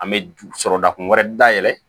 An bɛ sɔrɔ da kun wɛrɛ dayɛlɛ